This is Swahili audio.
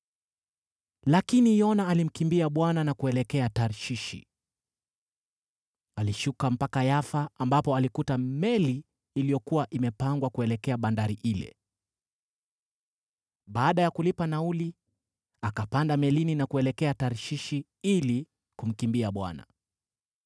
Lakini Yona alimkimbia Bwana na kuelekea Tarshishi. Alishuka mpaka Yafa, ambapo alikuta meli iliyokuwa imepangwa kuelekea bandari ile. Baada ya kulipa nauli, akapanda melini na kuelekea Tarshishi ili kumkimbia Bwana .